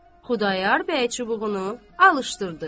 Xudayar bəy çubuğunu alışdırdı.